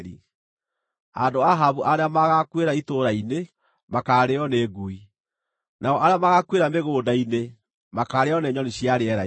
“Andũ a Ahabu arĩa magaakuĩra itũũra-inĩ, makaarĩĩo nĩ ngui. Nao arĩa magaakuĩra mĩgũnda-inĩ makaarĩĩo nĩ nyoni cia rĩera-inĩ.”